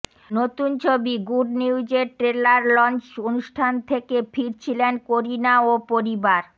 নতুন ছবি good news এর ট্রেলার লঞ্চ অনুষ্ঠান থেকে ফিরছিলেন করিনা ও পরিবার